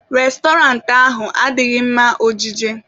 Restọrantị ahụ adịghị mma ọjije